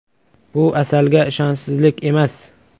Bu Asalga ishonchsizlik emas.